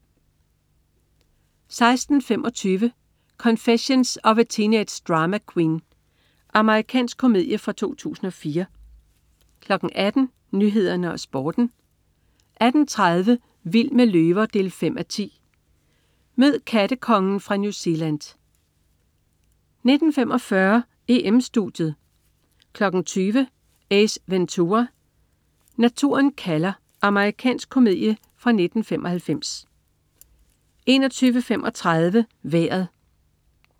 16.25 Confessions of a Teenage Drama Queen. Amerikansk komedie fra 2004 18.00 Nyhederne og Sporten 18.30 Vild med løver 5:10. Mød "kattekongen" fra New Zealand 19.45 EM-Studiet 20.00 Ace Ventura. Når naturen kalder. Amerikansk komedie fra 1995 21.35 Vejret